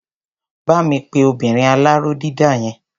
Bá mi pe obinrin aláró dídà yẹn.